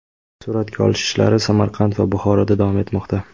Suratga olish ishlari Samarqand va Buxoroda davom etmoqda.